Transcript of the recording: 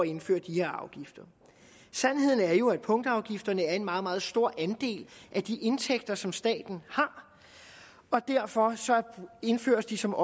indføre de her afgifter sandheden er jo at punktafgifterne er en meget meget stor andel af de indtægter som staten har og derfor indføres de som